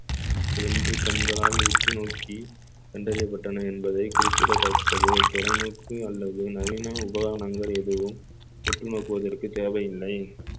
வென்று கண்களால் உற்று நோக்கி கண்டறியப்பட்டன என்பதை குறிப்பிடத்தக்கது தொலைநோக்கு அல்லது நவீன உபகரணங்கள் எதுவும் உற்று நோக்குவதற்கு தேவையில்லை